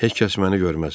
heç kəs məni görməz.